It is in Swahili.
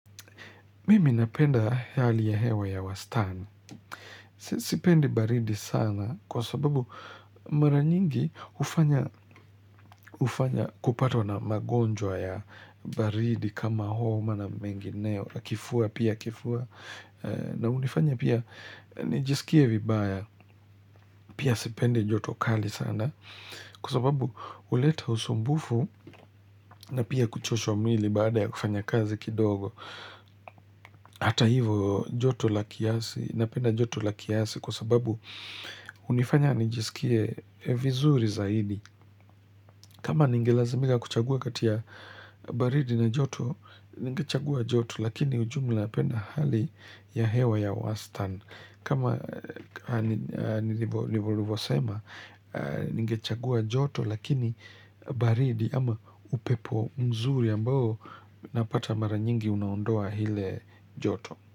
Mimi napenda hali ya hewa ya wastani. Sipendi baridi sana kwa sababu mara nyingi hufanya kupatwa na magonjwa ya baridi kama homa na mengineo. Kifua pia kifua na hunifanya pia nijisikie vibaya. Pia sipendi jotokali sana kwa sababu huleta usumbufu na pia kuchosha mwili baada ya kufanya kazi kidogo. Hata hivo joto la kiasi na penda joto la kiasi kwa sababu hunifanya nijisikie vizuri zaidi kama ningelazimika kuchagua kati ya baridi na joto Ningechagua joto lakini ujumla napenda hali ya hewa ya wastani kama nilivosema ningechagua joto lakini baridi ama upepo mzuri ambao napata mara nyingi unaondoa ile joto.